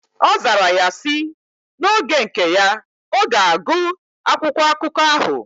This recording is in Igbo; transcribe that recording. Ozara ya si: Na oge nke ya, oga agu akwụkwọ akụkọ ahu.